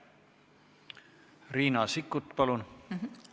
Riina Sikkut, palun!